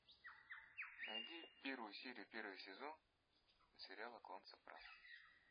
найди первую серию первый сезон сериала клан сопрано